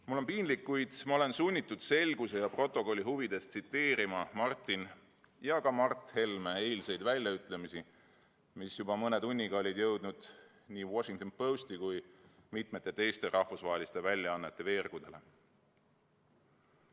Mul on piinlik, kuid ma olen sunnitud selguse ja protokolli huvides tsiteerima Martin ja ka Mart Helme eilseid väljaütlemisi, mis juba mõne tunniga olid jõudnud nii Washington Posti kui ka mitme teise rahvusvahelise väljaande veergudele.